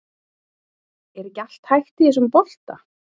Er ekki allt hægt í þessum bolta?